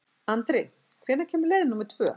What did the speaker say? Andri, hvenær kemur leið númer tvö?